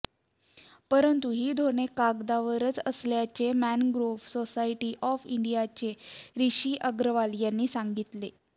परंतु ही धोरणे कागदावरच असल्याचे मॅनग्रोव्ह सोसायटी ऑफ इंडियाचे रिशी अगरवाल यांनी सांगितले